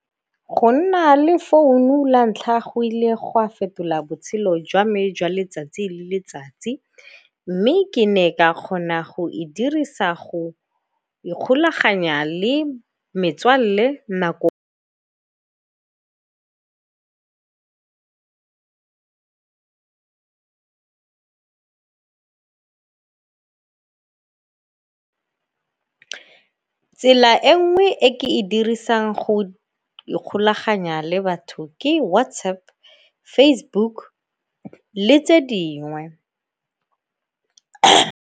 Go nna le founu la ntlha go ile go a fetola botshelo jwa me jwa letsatsi le letsatsi, mme ke ne ka kgona go e dirisa go ikgolaganya le metswalle nako. Tsela e nngwe e ke e dirisang go ikgolaganya le batho ke WhatsApp, Facebook le tse dingwe.